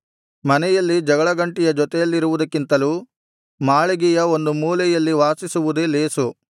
ಮನೆಯಲ್ಲಿ ಜಗಳಗಂಟಿಯ ಜೊತೆಯಲ್ಲಿರುವುದಕ್ಕಿಂತಲೂ ಮಾಳಿಗೆಯ ಒಂದು ಮೂಲೆಯಲ್ಲಿ ವಾಸಿಸುವುದೇ ಲೇಸು